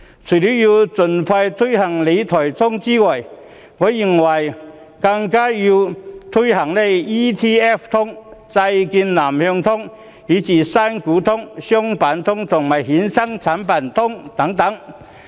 除了要盡快推行理財新思維，我認為更要推行 ETF 通，債券南向通、新股通、商品通，以及衍生產品通等。